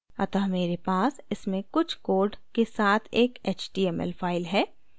अतः मेरे पास इसमें कुछ code के साथ एक html file है